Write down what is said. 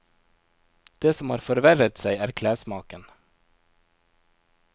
Det som har forverret seg er klessmaken.